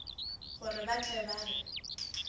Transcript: gore ba tle ba re